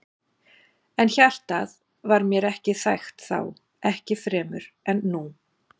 En hjartað var mér ekki þægt þá, ekki fremur en nú.